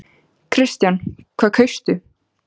Kristján: Hvað kaustu?